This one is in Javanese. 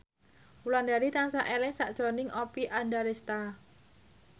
Wulandari tansah eling sakjroning Oppie Andaresta